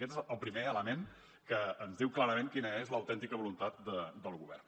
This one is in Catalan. aquest és el primer element que ens diu clarament quina és l’autèntica voluntat del govern